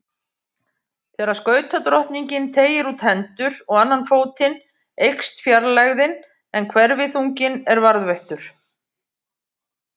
Þegar skautadrottningin teygir út hendur og annan fótinn eykst fjarlægðin en hverfiþunginn er varðveittur.